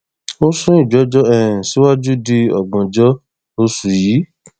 ó sún ìgbẹjọ um síwájú di ògbóǹjọ oṣù yìí